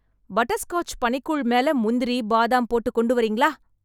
Butterscotch பனிக்கூழ் மேல முந்திரி, பாதம் போட்டு கொண்டு வரீங்களா?